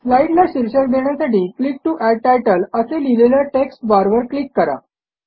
स्लाईडला शीर्षक देण्यासाठी click to add title असे लिहिलेल्या टेक्स्टबार वर क्लिक करा